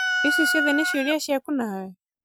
icio ciothe nĩ ciuria ciaku nawe?